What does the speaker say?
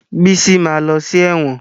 Bísí ma lọ sí ẹ̀wọ̀n